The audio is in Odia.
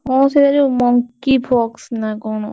ହଁ ସେ ଯୋଉ monkeypox ନା କଣ?